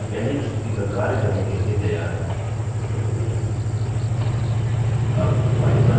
हम अपनी पहली प्रस्तुति पर कार्य करने के लिए तैयार हैं अब file बंद करें